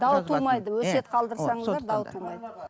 дау тумайды өсиет қалдырсаңыздар дау тумайды